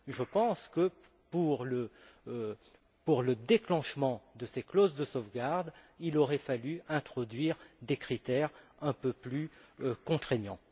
Je pense que, pour le déclenchement de ces clauses de sauvegarde, il aurait fallu introduire des critères un peu plus contraignants.